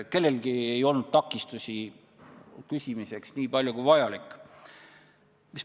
Kellelgi ei olnud takistusi, küsimaks nii palju kui vaja.